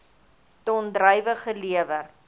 ton druiwe gelewer